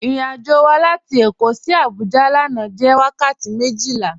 Irìn-àjọ́ wà látì Èkó sí Àbújá lànà jẹ́ wakàtí mejila.